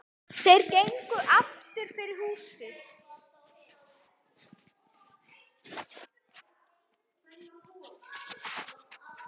Þeir gengu aftur fyrir húsið.